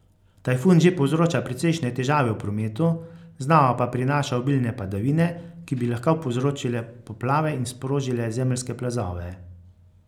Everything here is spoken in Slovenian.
Tajfun že povzroča precejšnje težave v prometu, znova pa prinaša obilne padavine, ki bi lahko povzročile poplave in sprožile zemeljske plazove.